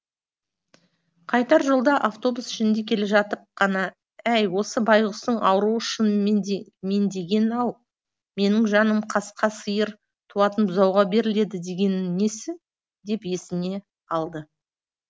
қайтар жолда автобус ішінде келе жатып қана әй осы байғұстың ауруы шын меңдеген ау менің жаным қасқа сиыр туатын бұзауға беріледі дегені несі деп есіне алды